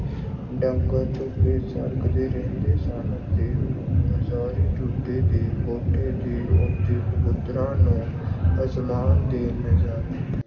ਡੰਗਰ ਧੁੱਪੇ ਸੜਦੇ ਰਹਿੰਦੇ ਸਨ ਤੇ ਉਹ ਹਜਾਰੀ ਟੁੰਡੇ ਦੇ ਕੋਠੇ ਤੇ ਉੱਡਦੇ ਕਬੂਤਰਾਂ ਨੂੰ ਅਸਮਾਨ ਦੇ ਨਜ਼ਾਰੇ